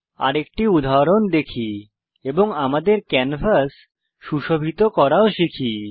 আরেকটি উদাহরণ দেখি এবং আমাদের ক্যানভাস সুশোভিত করাও শিখি